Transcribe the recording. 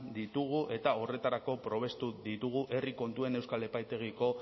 ditugu eta horretarako probestu ditugu herri kontuen euskal epaitegiko